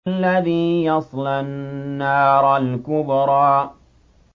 الَّذِي يَصْلَى النَّارَ الْكُبْرَىٰ